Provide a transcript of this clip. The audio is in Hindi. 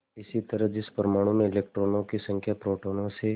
इसी तरह जिस परमाणु में इलेक्ट्रॉनों की संख्या प्रोटोनों से